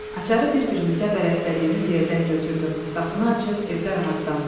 Açarı bir-birimizə bələtdədiyimiz yerdən götürdüm, qapını açıb evdə rahatlandım.